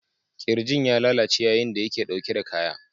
Kirjin ya lalace yayin da yake dauke da kaya.